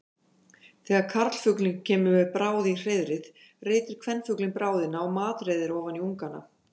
Þegar karlfuglinn kemur með bráð í hreiðrið reitir kvenfuglinn bráðina og matreiðir ofan í ungana.